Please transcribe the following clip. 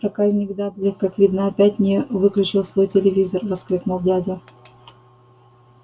проказник дадли как видно опять не выключил свой телевизор воскликнул дядя